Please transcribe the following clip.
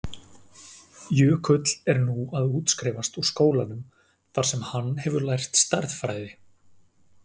Jökull er nú að útskrifast úr skólanum þar sem hann hefur lært stærðfræði.